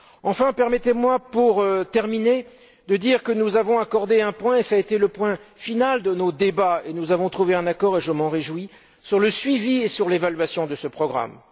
Enfin, permettez moi pour terminer, de dire que nous avons inclus un point, qui a été le point final de nos débats, sur lequel nous avons trouvé un accord et je m'en réjouis sur le suivi et sur l'évaluation de ce programme.